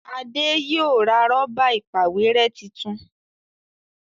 Ade yóò ra Rọ́bà ìpàwérẹ́ títún